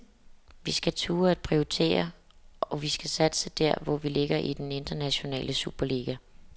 Vi skal turde at prioritere, og vi skal satse der, hvor vi ligger i den internationale superliga.